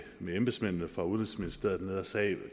med embedsmændene fra udenrigsministeriet der sagde